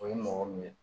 O ye mɔgɔ min ye